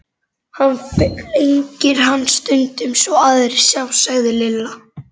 Hann flengir hann stundum svo aðrir sjá, sagði Lilla.